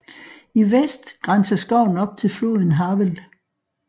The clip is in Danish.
I vest grænser skoven op til floden Havel